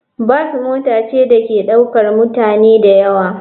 Bas mota ce da ke ɗaukar mutane da yawa.